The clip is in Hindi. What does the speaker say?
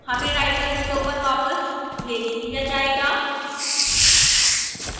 हमें writer window पर वापस भेज दिया जाएगा